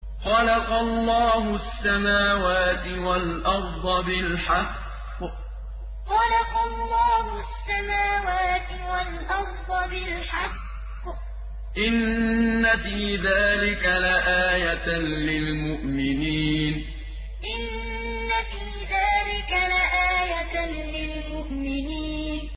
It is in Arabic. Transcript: خَلَقَ اللَّهُ السَّمَاوَاتِ وَالْأَرْضَ بِالْحَقِّ ۚ إِنَّ فِي ذَٰلِكَ لَآيَةً لِّلْمُؤْمِنِينَ خَلَقَ اللَّهُ السَّمَاوَاتِ وَالْأَرْضَ بِالْحَقِّ ۚ إِنَّ فِي ذَٰلِكَ لَآيَةً لِّلْمُؤْمِنِينَ